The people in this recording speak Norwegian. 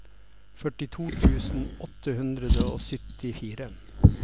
førtito tusen åtte hundre og syttifire